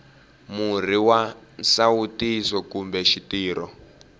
murhi wa nsawutiso kumbe xitirho